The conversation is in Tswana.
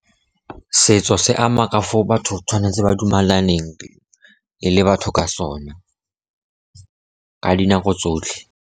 Setso se ama ka foo batho tshwanetse ba dumalaneng, e le batho ka sona ka dinako tsotlhe.